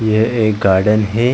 यह एक गार्डन है।